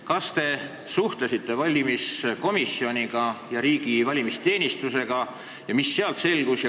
Kas te suhtlesite valimiskomisjoni ja riigi valimisteenistusega ning mis sealt selgus?